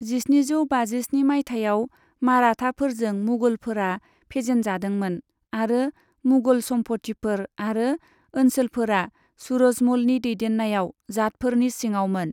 जिस्निजौ बाजिस्नि माइथायाव माराठाफोरजों मुगलफोरा फेजेनजादोंमोन आरो मुगल सम्पथिफोर आरो ओनसोलफोरा सूरजमलनि दैदेन्नायाव जाटफोरनि सिङावमोन।